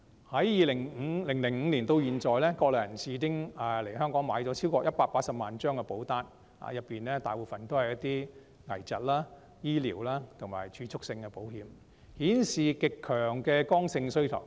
由2005年至今，國內人士已經來港購買超過180萬張保單，當中大部分是一些危疾、醫療及儲蓄性的保險，顯示極強的剛性需求。